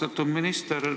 Austatud minister!